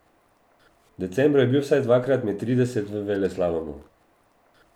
V decembru je bil vsaj dvakrat med trideset v veleslalomu.